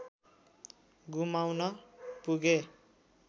गुमाउन पुगे